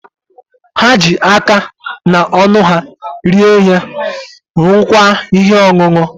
Ha ji aka na ọnụ ha rie ihe, ṅụọkwa ihe ọṅụṅụ.